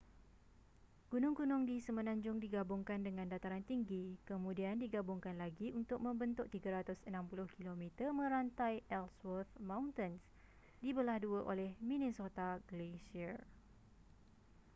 gunung-gunung di semenanjung digabungkan dengan dataran tinggi kemudian digabungkan lagi untuk membentuk 360 km merantai ellsworth mountains dibelah dua oleh minnesota glacier